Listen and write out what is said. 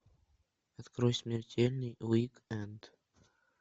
открой смертельный уик энд